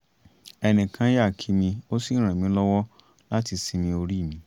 ẹnìkan yà kí mi ó sì ràn mí lọ́wọ́ láti sinmi orí mi